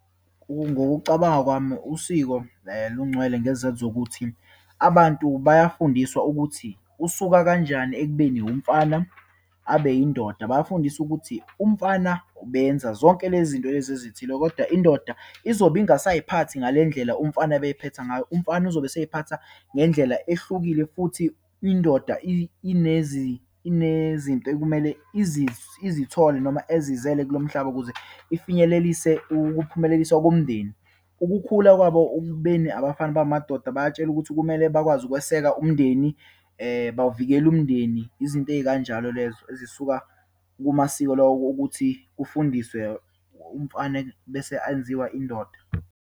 Ngokucabanga kwami usiko lungcwele, ngesizathu sokuthi abantu bayafundiswa ukuthi usuka kanjani ekubeni umfana abe yindoda. Bayafundiswa ukuthi, umfana benza zonke lezi zinto lezi ezithile, kodwa indoda izobe ingasayiphathi ngale ndlela umfana abeyiphetha ngayo. Umfana uzobe eseyiphatha ngendlela ehlukile, futhi indoda inezinto ekumele izithole noma ezizele kulo mhlaba ukuze ifinyelelise ukuphumeleliswa komndeni. Ukukhula kwabo okubeni abafana babe amadoda, bayatshelwa ukuthi kumele bakwazi ukweseka umndeni, bawuvikele umndeni. Izinto eyikanjalo lezo, ezisuka kumasiko lawa okuthi kufundiswe umfana bese ayenziwa indoda.